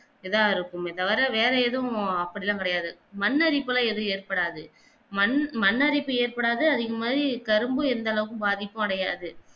இதா இருக்கும் இத தவிர வெற ஏதும் அப்படியெல்லாம் கிடையாது மன்னரிப்பெல்லாம் ஏதும் ஏட்படாது மண் மண்ணரிப்பு ஏட்படாது அதேமாதிரி கரும்பு எந்தளவுக்கு பாதிப்பு அடையாது